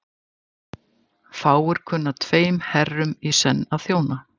Fáir kunna tveim herrum í senn að þjóna.